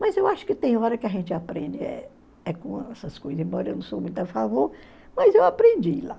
Mas eu acho que tem hora que a gente aprende, eh eh com essas coisas, embora eu não sou muito a favor, mas eu aprendi lá.